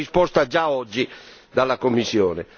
Vorrei una risposta già oggi dalla Commissione.